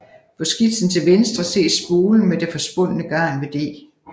På skitsen til venstre ses spolen med det forspundne garn ved D